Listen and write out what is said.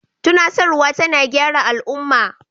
Tunasarwa tana gyara al'umma.